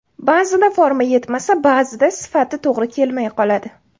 Ba’zida forma yetmasa, ba’zida sifati to‘g‘ri kelmay qoladi.